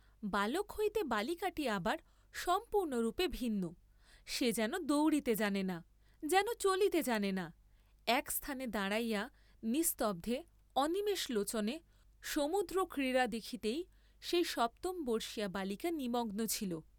বালক হইতে বালিকাটি আবার সম্পূর্ণরূপে ভিন্ন, সে যেন দৌড়িতে জানে না, যেন চলিতে জানে না, একস্থানে দাঁড়াইয়া নিস্তব্ধে, অনিমেষলোচনে, সমুদ্রক্রীড়া দেখিতেই সেই সপ্তমবর্ষীয়া বালিকা নিমগ্ন ছিল।